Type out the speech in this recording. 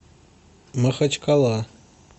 махачкала